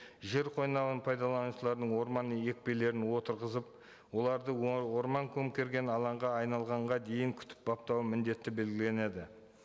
жер қойнауын пайдаланушылардың орман екпелерін отырғызып оларды орман көмкерген алаңға айналғанға дейін күтіп баптауын міндеті белгіленеді